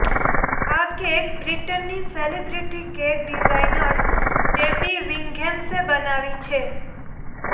આ કેક બ્રિટનની celebrity cake designer Debbie વિંઘેમ્સે બનાવી છે